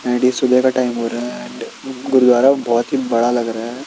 And ये सुबह का टाइम हो रहा है एंड गुरुद्वारा बहोत ही बड़ा लग रहा है।